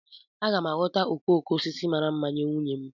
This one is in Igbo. Aga m aghọta okoko osisi mara mma nye nwunye m